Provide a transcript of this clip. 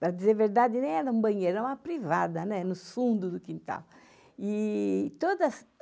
Para dizer a verdade, nem era um banheiro, é uma privada, né, nos fundos do quintal. E todas